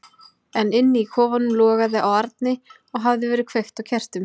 En inni í kofanum logaði á arni og hafði verið kveikt á kertum.